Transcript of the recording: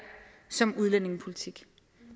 som udlændingepolitik